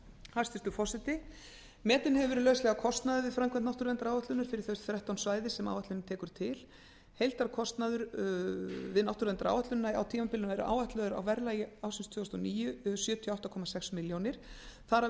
hæstvirtur forseti metinn hefur verið lauslega kostnaður við framkvæmd náttúruverndaráætlunar fyrir þau þrettán svæði sem áætlunin tekur til heildarkostnaður við náttúruverndaráætlunina á tímabilinu er áætlaður um sjötíu og átta komma sex milljónir króna á verðlagi ársins tvö þúsund og níu þar af er